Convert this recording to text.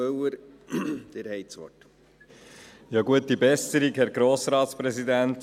Gute Besserung, Herr Grossratspräsident!